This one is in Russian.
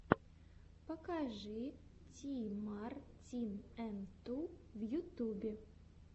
покажи ти мар тин эн ту в ютюбе